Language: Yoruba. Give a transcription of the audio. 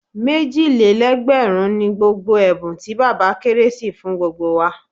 Méjì lé lẹ́gbẹ̀rún ni gbogbo ẹ̀bùn tí bàbá kérésì fún gbogbo wa.